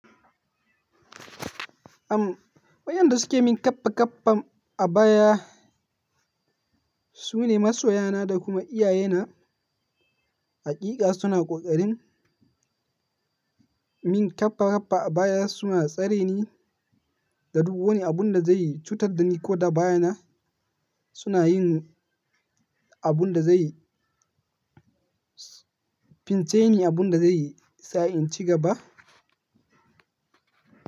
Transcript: Am, wayanda suke min kaffa kaffan a baya su ne masoya na da kuma iyaye na. Hakika suna ƙoƙarin min kaffa kaffa a baya suna tsare ni da duk wani abun da zai cutar da ni ko da baya na suna yin abun da zai fin ce ni abun da zai sa in ci gaba.